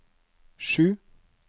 sju